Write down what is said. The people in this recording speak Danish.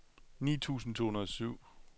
ni tusind to hundrede og syv